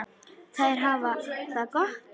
Þær hafa það gott.